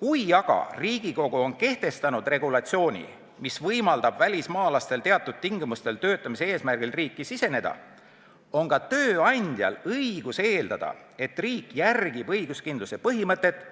Kui aga Riigikogu on kehtestanud regulatsiooni, mis võimaldab välismaalastel teatud tingimustel töötamise eesmärgil riiki siseneda, on ka tööandjatel õigus eeldada, et riik järgib õiguskindluse põhimõtet